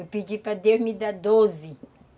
Eu pedi para Deus me dar doze.